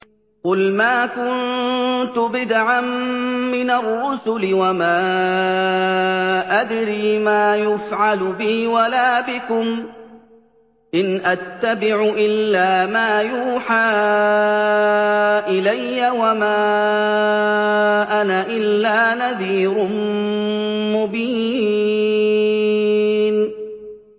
قُلْ مَا كُنتُ بِدْعًا مِّنَ الرُّسُلِ وَمَا أَدْرِي مَا يُفْعَلُ بِي وَلَا بِكُمْ ۖ إِنْ أَتَّبِعُ إِلَّا مَا يُوحَىٰ إِلَيَّ وَمَا أَنَا إِلَّا نَذِيرٌ مُّبِينٌ